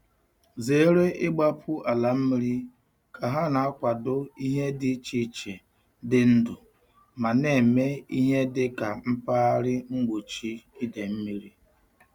Zere igbapu ala mmiri ka ha na-akwado ihe dị iche iche dị ndụ ma na-eme ihe dị ka mpaghara mgbochi ide mmiri.